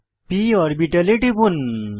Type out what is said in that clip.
p অরবিটালে টিপুন